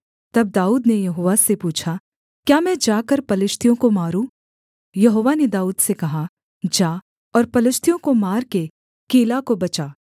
तब दाऊद ने यहोवा से पूछा क्या मैं जाकर पलिश्तियों को मारूँ यहोवा ने दाऊद से कहा जा और पलिश्तियों को मार के कीला को बचा